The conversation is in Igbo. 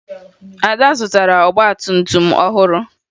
Ada zụtara ọgbatumtum ọhụrụ